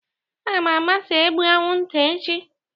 Aga m agbasa egbu anwụnta echi